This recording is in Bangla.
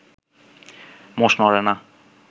মোষ নড়ে না